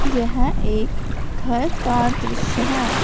यह एक घर का दृश्य है।